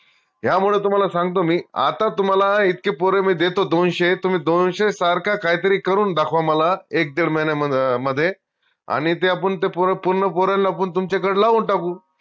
ह्यामुळं तुम्हाला सांगतो मी आता तुम्हाला इतके पोर मी देतो दोनशे तुम्ही दोनशे सारखं काहीतरी करून दाखवा मला एक, दीड महिन्यामध्ये अणि ते आपन ते पोर पूर्ण पोर तुमच्याकडं लावून टाकू